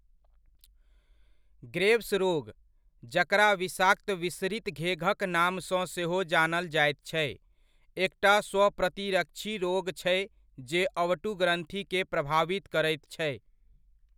Graves रोग, जकरा विषाक्त विसरित घेघक नामसँ सेहो जानल जाइत छै, एकटा स्वप्रतिरक्षी रोग छै जे अवटुग्रन्थिके प्रभावित करैत छै।